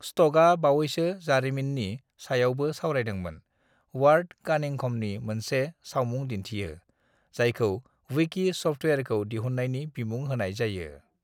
"स्क'टआ बावैसोनि जारिमिननि सायावबो सावरायदोंमोन, वार्ड कानिंघमनि मोनसे सावमुं दिन्थियो - जायखौ विकी सफ्टवेयरखौ दिहुननायनि बिमुं होनाय जायो।"